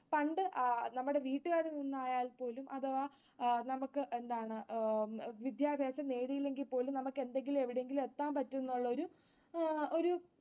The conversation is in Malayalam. പണ്ട് നമ്മുടെ വീട്ടുകാരിൽ നിന്നായാൽ പോലും അഥവാ നമുക്ക് വിദ്യാഭ്യാസം നേടിയില്ലെങ്കിൽപോലും നമുക്ക് എന്തെങ്കിലും എവിടെയെങ്കിലും എത്താൻ പറ്റും എന്നുള്ളൊരു ആഹ്